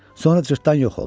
Sonra cırtdan yox oldu.